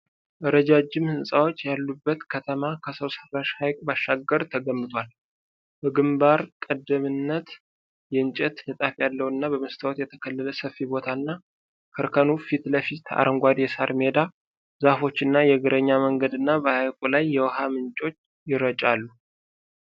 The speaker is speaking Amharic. ረጃጅም ሕንፃዎች ያሉበት ከተማ ከሰው ሰራሽ ሐይቅ ባሻገር ተገንብቷል። በግንባር ቀደምትነት የእንጨት ንጣፍ ያለውና በመስታወት የተከለለ ሰፊ ቦታና፣ ከእርከኑ ፊት ለፊት አረንጓዴ የሣር ሜዳ፣ ዛፎች እና የእግረኛ መንገድ እና በሐይቁ ላይ የውሃ ምንጮች ይረጫሉ።